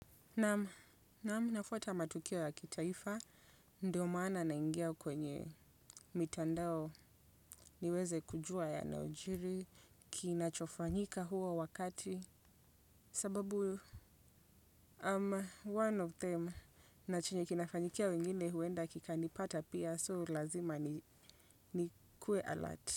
Naam, naam nafuata matukio ya kitaifa, ndiyo maana naingia kwenye mitandao. Niweze kujua yanayojiri, kinachofanyika huo wakati, sababu, um, one of them, na chenye kinafanyikia wengine huenda kikanipata pia, so ulazima niwe alert.